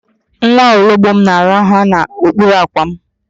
Nwa ologbom na-araha n'okpuru àkwà m